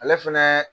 Ale fɛnɛ